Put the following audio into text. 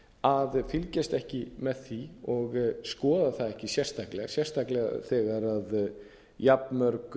að fylgjast ekki með því og skoða það ekki sérstaklega sérstaklega þegar jafn mörg